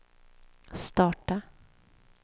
starta